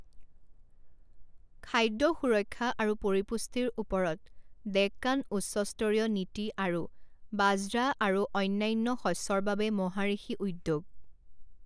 খাদ্য সুৰক্ষা আৰু পৰিপুষ্টিৰ ওপৰত ডেক্কান উচ্চ স্তৰীয় নীতি আৰু, বাজ্ৰা আৰু অন্যান্য শস্যৰ বাবে মহাঋষি উদ্যোগ।